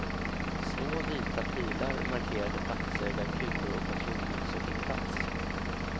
Små vita pilar markerade platser där kulor och patronhylsor hittats.